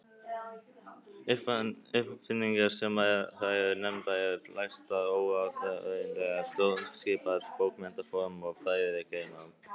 Uppfinningarnar sem þar eru nefndar eru flestar óáþreifanlegar: stjórnskipan, bókmenntaform og fræðigreinar.